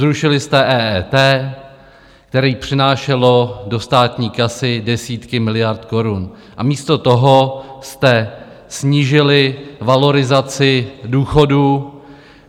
Zrušili jste EET, které přinášelo do státní kasy desítky miliard korun, a místo toho jste snížili valorizaci důchodů.